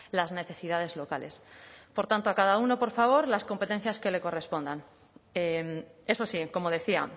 las necesidades locales por tanto a cada uno por favor las competencias que le correspondan eso sí como decía